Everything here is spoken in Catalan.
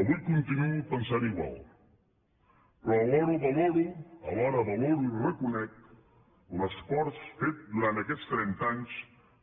avui continuo pensant igual però alhora valoro i reconec l’esforç fet durant aquests trenta anys